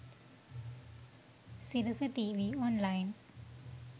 sirasa tv online